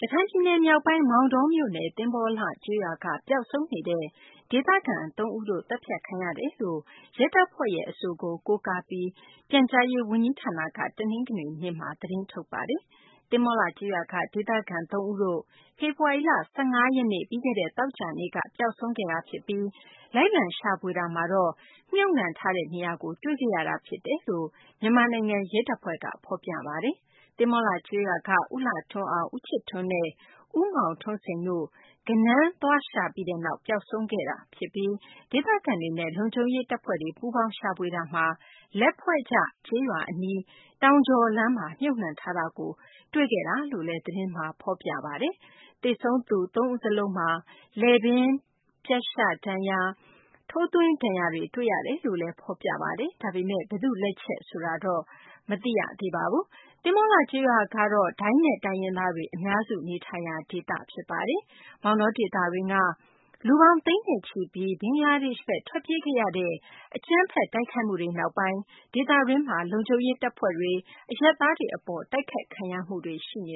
ရခိုင်ပြည်နယ် မြောက်ပိုင်း မောင်တော မြို့နယ် သဘောၤလှ ကျေးရွာက ပျောက်ဆုံးနေတဲ့ ဒေသခံ သုံးဦး သတ်ဖြတ်ခံရကြောင်း ရဲတပ်ဖွဲ့အဆိုကို ကိုးကားပြီး ပြန်ကြားရေး ဝန်ကြီးဌာနက တနင်္ဂနွေနေ့မှာ သတင်းထုတ်ပါတယ်။ သဘောၤလှ ကျေးရွာက ဒေသခံ ၃ ဦးတို့ ဖေဖော်ဝါရီလ ၁၅ ရက်နေ့ ပြီးခဲ့တဲ့ သောကြာနေ့က ပျောက်ဆုံးသွားခဲ့ပြီးနောက် လိုက်လံ ရှာဖွေရာမှာ သတ်ဖြတ် မြုပ်နှံထားတာကို တွေ့ခဲ့ရတာ ဖြစ်တယ်လို့ မြန်မာနိုင်ငံ ရဲတပ်ဖွဲ့က ဖော်ပြထားပါတယ်။ သဘောၤလှ ကျေးရွာက ဦးလှထွန်းအောင်၊ ဦးချစ်ထွန်းနဲ့ ဦးမောင်ထွန်းစိန်တို့ ဂဏန်းရှာသွားပြီးနောက် ပျောက်ဆုံးခဲ့ကြောင်း၊ ဒေသခံတွေနဲ့ လုံခြုံရေး တပ်ဖွဲ့တွေ ပူးပေါင်း ရှာဖွေတာမှာ လက်ဖွဲ့ကျ ကျေးရွာ အနီး တောင်ကျော်လမ်းမှာ မြှုပ်နှံထားတာကို တွေ့ခဲ့ရာတာလို့လည်း သတင်းမှာ ဖော်ပြပါတယ်။ သေဆုံးသူ သုံးဦးစလုံးမှာ လည်ပင်းပြတ်ရှဒဏ်ရာ၊ ထိုးသွင်းဒဏ်ရာတွေ တွေ့ရတယ်လို့လည်း ဖော်ပြပါတယ်။ ဒါပေမယ့် ဘယ်သူ့လက်ချက် ဆိုတာတော့ မသိရသေးပါဘူး။ မောင်တောဒေသတွင်းက လူပေါင်း သိန်းနဲ့ချီပြီး ဘင်္ဂလားဒေရှ့်ဘက် ထွက်ပြေးခဲ့ရတဲ့ အကြမ်းဖက် တိုက်ခိုက်မှုတွေ နောက်ပိုင်း ဒေသတွင်းမှာ လုံခြုံရေး တပ်ဖွဲ့တွေ၊ အရပ်သားတွေ အပေါ် တိုက်ခိုက်ခံရမှုတွေ ရှိနေ